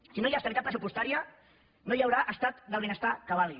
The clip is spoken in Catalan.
si no hi ha estabilitat pressupostària no hi haurà estat del benestar que valgui